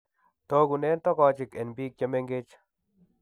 Togunen togochik en biik chemengech